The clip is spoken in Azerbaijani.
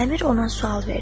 Əmir ona sual verdi.